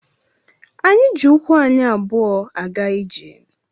Anyị jị ụkwụ anyị abụọ a ga ijè